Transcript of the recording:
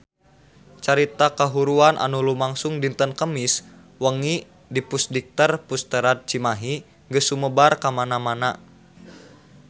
Carita kahuruan anu lumangsung dinten Kemis wengi di Pusdikter Pusterad Cimahi geus sumebar kamana-mana